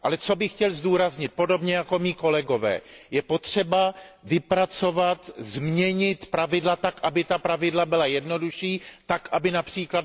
Ale co bych chtěl zdůraznit, podobně jako mí kolegové je potřeba vypracovat, změnit pravidla tak, aby ta pravidla byla jednodušší, tak aby např.